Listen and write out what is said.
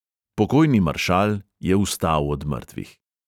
Pokojni maršal je vstal od mrtvih.